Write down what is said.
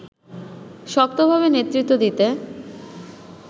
শক্তভাবে নেতৃত্ব দিতে